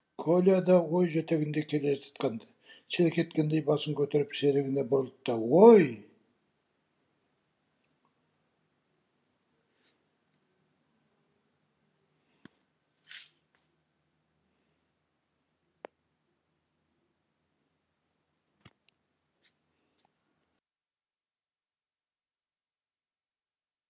коля да ой жетегінде келе жатқан ды селк еткендей басын көтеріп серігіне бұрылды да ой